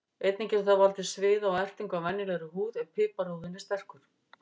Einnig getur það valdið sviða og ertingu á venjulegri húð ef piparúðinn er sterkur.